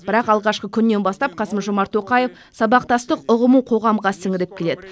бірақ алғашқы күннен бастап қасым жомарт тоқаев сабақтастық ұғымын қоғамға сіңіріп келеді